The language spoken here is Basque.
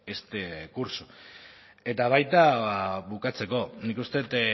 este curso eta baita bukatzeko nik uste dut